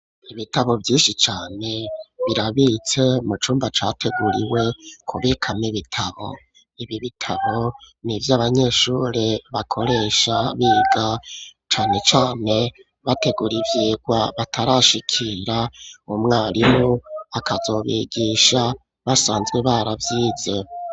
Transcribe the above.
Ibitabo vyinshi cane birabitse mu cumba categuriwe kubikamwo ibitabo ibi bitabo nivyo abanyeshuri bakoresha biga cane cane bategura ivyigwa batarashikira umwarimu akazobigisha basanzwe baravyize.